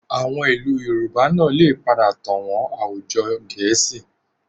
Àwọn ìlú Yorùbá náà lè padà tàn wọn àwùjọ Gẹ̀ẹ́sì